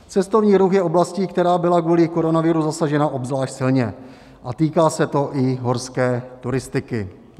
Cestovní ruch je oblastí, která byla kvůli koronaviru zasažena obzvlášť silně, a týká se to i horské turistiky.